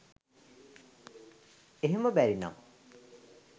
එහෙම බැරිනම්